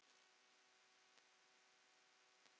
Jafnvel í stórum hópum?